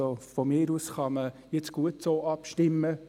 Von mir aus kann man gut so abstimmen.